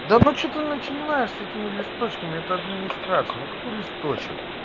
да ну что ты начинаешь с этими листочками это администрация ну какой листочек